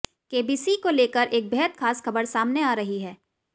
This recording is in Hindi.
केबीसी को लेकर एक बेहद खास खबर सामने आ रही है